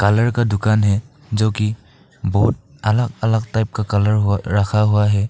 Colour का दुकान है जो की बहोत अलग अलग टाइप का कलर हो रखा हुआ है।